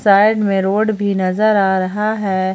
Side में road भी नजर आ रहा है।